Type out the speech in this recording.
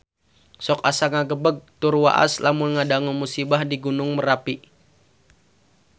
Sok asa ngagebeg tur waas lamun ngadangu musibah di Gunung Merapi